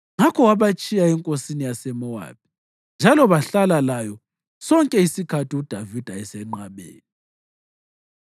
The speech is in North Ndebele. Ngakho wabatshiya enkosini yaseMowabi njalo bahlala layo sonke isikhathi uDavida esenqabeni.